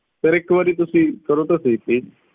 sir ਇੱਕ ਤੁਸੀਂ ਕਰੋ ਤਾਂ ਸਹੀ please